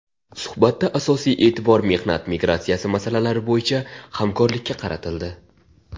Suhbatda asosiy e’tibor mehnat migratsiyasi masalalari bo‘yicha hamkorlikka qaratildi.